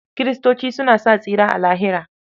Kiristoci suna sa tsira a Lahira.